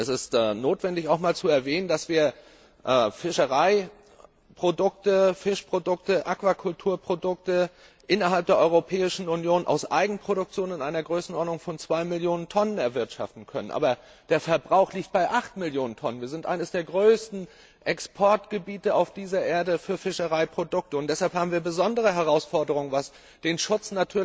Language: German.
Es ist notwendig, auch einmal zu erwähnen, dass wir Fischereiprodukte, Fischprodukte, Aquakulturprodukte innerhalb der Europäischen Union aus Eigenproduktion in einer Größenordnung von 2 Millionen Tonnen erwirtschaften können, der Verbrauch aber bei 8 Millionen Tonnen liegt. Wir sind eines der größten Exportgebiete für Fischereiprodukte auf dieser Erde. Deshalb haben wir besondere Herausforderungen, was den Schutz